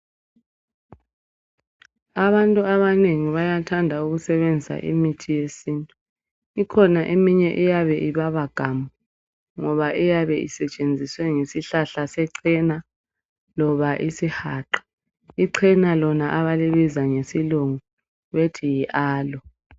Abantu abanengi bayathanda ukusebenzisa imithi yesintu. Ikhona eminye eyabe ubaba gamu ,ngoba iyabe isetshenziswe ngesihlahla secena loba isihaqa. Icena lona abalibiza ngesilungu bethi yi Aloe.